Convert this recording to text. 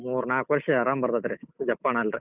ಮೂರ್ ನಾಲ್ಕ್ ವರ್ಷ್ ಆರಾಮ್ ಬರ್ತೇತ್ರಿ ಜಪ್ ಅನ್ನಲ್ರಿ.